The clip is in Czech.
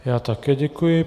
Já také děkuji.